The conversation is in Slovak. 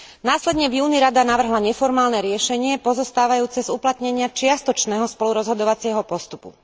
Následne v júni Rada navrhla neformálne riešenie pozostávajúce z uplatnenia čiastočného spolurozhodovacieho postupu.